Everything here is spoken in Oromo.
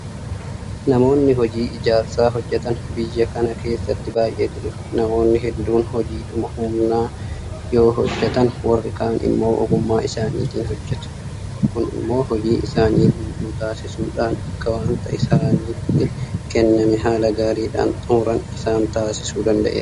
Namoonni hojii ijaarsaa hojjetan biyya kana keessatti baay'eetu jira. Namoonni hedduun hojiidhuma humnaa yoo hojjetan warri kaan immoo ogummaa isaaniitiin hojjetu. Kun immoo hojii isaanii guutuu taasisuudhaan akka waanta isaanitti kenname haala gaariidhaan xummuran isaan taasisuu danda'eera.